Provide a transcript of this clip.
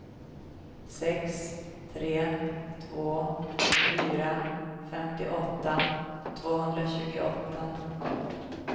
sex tre två fyra femtioåtta tvåhundratjugoåtta